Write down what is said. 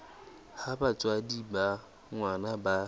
ha batswadi ba ngwana ba